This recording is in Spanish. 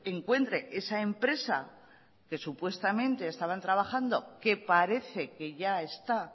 encuentre esa empresa que supuestamente estaban trabajando y que parece que ya está